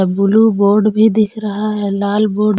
Blue board भी दिख रहा है लाल बोर्ड। --